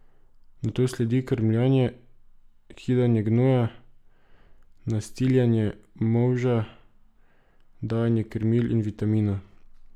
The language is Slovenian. Nato sledi krmljenje, kidanje gnoja, nastiljanje, molža, dajanje krmil in vitaminov.